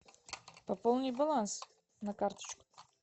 пополни баланс на карточку